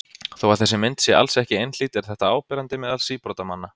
Þó að þessi mynd sé alls ekki einhlít er þetta áberandi meðal síbrotamanna.